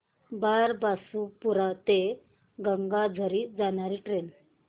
बारबासपुरा ते गंगाझरी जाणारी ट्रेन